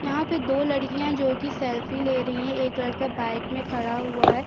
यहाँ पे दो लडकियाँ जोकि सेल्फी ले रहीं हैं एक लड़का बाइक में खड़ा हुआ है।